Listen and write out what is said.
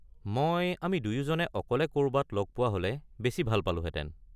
মই আমি দুয়োজনে অকলে ক’ৰবাত লগ পোৱা হ’লে বেছি ভাল পালোহেতেন।